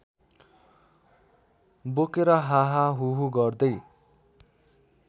बोकेर हाहाहुहु गर्दै